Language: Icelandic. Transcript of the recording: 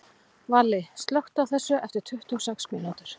Valli, slökktu á þessu eftir tuttugu og sex mínútur.